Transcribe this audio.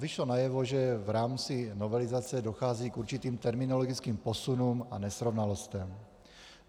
Vyšlo najevo, že v rámci novelizace dochází k určitým terminologickým posunům a nesrovnalostem.